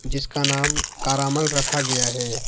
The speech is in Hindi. जिसका नाम कारामल रखा गया है।